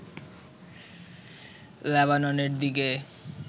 লেবাননের দিকে